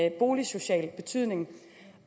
en boligsocial betydning